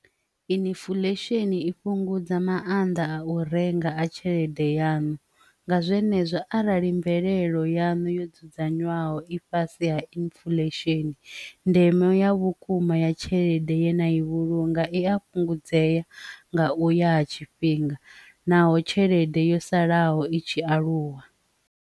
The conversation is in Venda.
Inifulesheni i fhungudza maanḓa a u renga a tshelede yanu nga zwenezwo arali mvelelo yanu yo dzudzanywaho i fhasi ha inifulesheni ndeme e ya vhukuma ya tshelede ye na i vhulunga i a fhungudzea nga uya ha tshifhinga naho tshelede yo salaho i tshi aluwa.